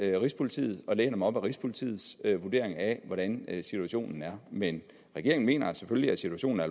rigspolitiet og læner mig op ad rigspolitiets vurdering af hvordan situationen er men regeringen mener selvfølgelig at situationen er